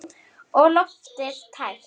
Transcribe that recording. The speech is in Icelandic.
Og loftið svo tært.